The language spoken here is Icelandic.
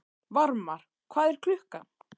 Varmar, hvað er klukkan?